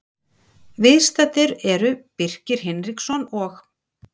Viðstaddir eru Birkir Hinriksson og